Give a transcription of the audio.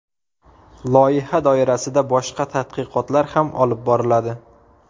Loyiha doirasida boshqa tadqiqotlar ham olib boriladi.